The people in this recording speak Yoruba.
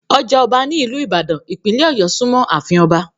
Ọjà ọba ní ìlú ìbàdàn, ìpínlẹ̀ ọ̀yọ́ súnmọ́ àfin Ọba